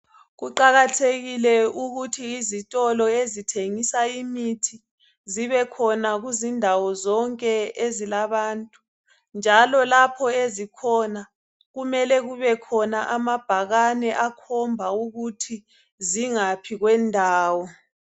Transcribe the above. Kuqakathekile ukuthi izitolo ezithengisa imithi zibekhona kuzindawo zonke ezilabantu njalo lapho ezikhona kumele kube khona amabhakane akhomba ukuthi zingaphi kwendawo.